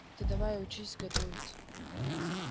ты давай учись готовить